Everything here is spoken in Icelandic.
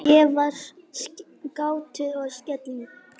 Ég var gáttuð og slegin.